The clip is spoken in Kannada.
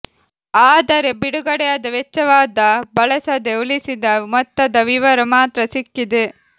ಆದರೆ ಬಿಡುಗಡೆಯಾದ ವೆಚ್ಚವಾದ ಬಳಸದೆ ಉಳಿಸಿದ ಮೊತ್ತದ ವಿವರ ಮಾತ್ರ ಸಿಕ್ಕಿದೆ